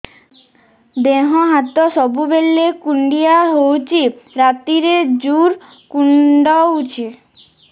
ଦେହ ହାତ ସବୁବେଳେ କୁଣ୍ଡିଆ ହଉଚି ରାତିରେ ଜୁର୍ କୁଣ୍ଡଉଚି